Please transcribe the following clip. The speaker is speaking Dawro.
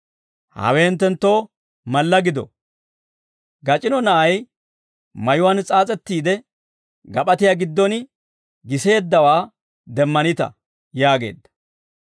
Hawe hinttenttoo malla gido: Gac'ino na'ay mayuwaan s'aas'ettiide gap'atiyaa giddon giseeddawaa demmanita» yaageedda.